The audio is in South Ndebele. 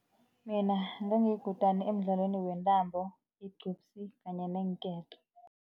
Nina ngangiyikutani emdlalweni wentambo, igcubsi kanye neenketo.